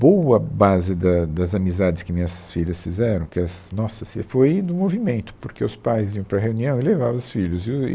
Boa base da, das amizades que minhas filhas fizeram, que as nossas filhas, foi no movimento, porque os pais iam para reunião e levavam os filhos. E o e